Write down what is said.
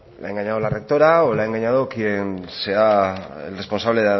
le ha engañado la rectora o le ha engañado quien sea el responsable